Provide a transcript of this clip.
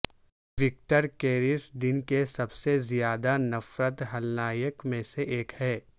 Victor کیریس دن کے سب سے زیادہ نفرت ھلنایک میں سے ایک ہے